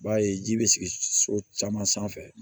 I b'a ye ji bɛ sigi so caman sanfɛ